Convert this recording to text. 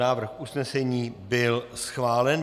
Návrh usnesení byl schválen.